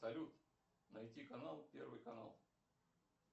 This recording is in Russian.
салют найти канал первый канал